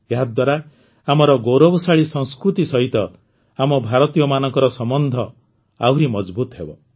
ଏହାଦ୍ୱାରା ଆମର ଗୌରବଶାଳୀ ସଂସ୍କୃତି ସହିତ ଆମ ଭାରତୀୟମାନଙ୍କର ସମ୍ବନ୍ଧ ଆହୁରି ମଜଭୁତ ହେବ